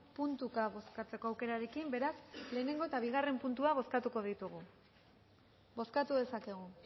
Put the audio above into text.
puntuka bozkatzeko aukerarekin beraz lehenengo eta bigarren puntua bozkatuko ditugu bozkatu dezakegu